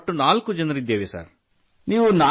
ನಾವು ನಾಲ್ಕು ಜನರಿದ್ದೇವೆ ಸರ್